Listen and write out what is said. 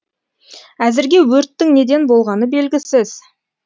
әзірге өрттің неден болғаны белгісіз